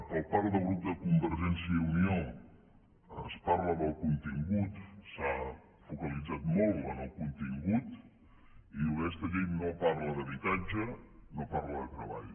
per part del grup de convergència i unió es parla del contingut s’ha focalitzat molt en el contingut i diu aquesta llei no parla d’habitatge no parla de treball